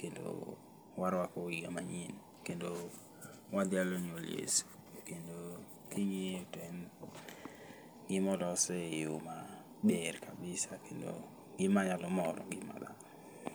kendo warwako higa manyien. Kendo wadhialo nyuol Yesu, kendo king'iye to en gimolos e yo maber kabisa kendo gima nyalo moro ngima dhano.